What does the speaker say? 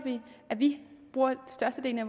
at de bruger størstedelen af